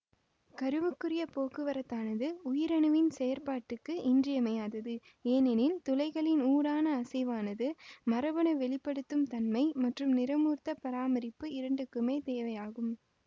கருவுக்குரிய போக்குவரத்தானது உயிரணுவின் செயற்பாட்டுக்கு இன்றியமையாதது ஏனெனில் துளைகளின் ஊடான அசைவானது மரபணு வெளி படுத்தும் தன்மை மற்றும் நிறமூர்த்தப் பராமரிப்பு இரண்டுக்குமே தேவையாகும்